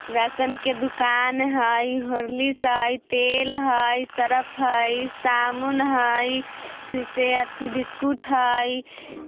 राशन के दुकान हई हॉर्लिक्स हई तेल हई सर्फ हई साबुन हई फिर से आथी बिस्किट हई।